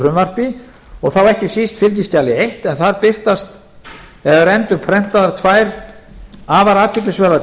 frumvarpi og þá ekki síst fylgiskjali eitt en þar er endurprentaðar tvær afar athyglisverðar